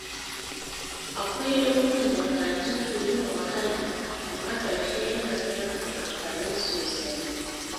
Akwai lokutan da karatu ke yin wahala, amma a ƙarshe yana zama mai amfani sosai.